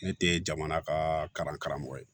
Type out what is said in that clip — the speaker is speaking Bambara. Ne te jamana ka karamɔgɔ ye